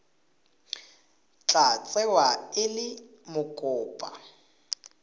tla tsewa e le mokopa